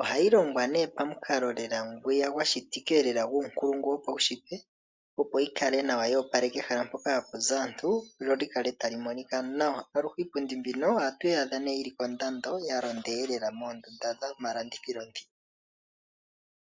Ohayi longwa ne pamukalo lela ngwiya gwashitikika lela guunkulungu wopaushitwe opo yi kale nawa yoopaleka ehala mpoka hapu zi aantu lyo likale tali monika nawa. Aluhe iipundi mbino ohatuyi adha ne yili kondando yalonda ihe lela moondunda dhomalandithilo ndhi.